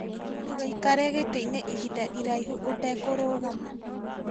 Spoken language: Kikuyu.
Ndũgaikare gĩtĩ-inĩ ihinda iraihu ũtekũrũgama